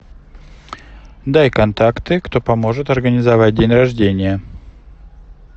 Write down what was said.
дай контакты кто поможет организовать день рождения